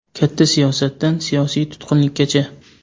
Katta siyosatdan siyosiy tutqunlikkacha.